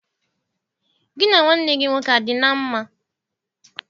Gị na nwanne gị nwoke a dị na mma?